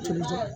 Tulu jɔ